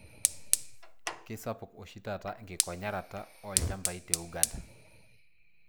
Kisapuk oshi taata enkikonyaraata oolchambai te Uganda.